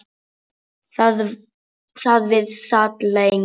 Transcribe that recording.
Þar við sat lengi.